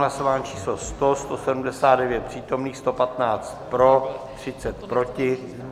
Hlasování číslo 100, 179 přítomných, 115 pro, 30 proti.